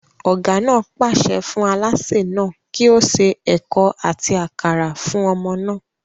Ọ̀gá náà pàṣẹ fún alásè náà kí ó se ẹ̀ko àti àkàrà fún ọmọ náà